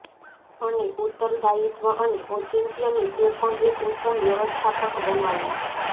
અને ઉત્તરદાયિત્વ અને ઔચિત્યની તે પણ એક ઉત્તમ વ્યવસ્થાપક બનાવો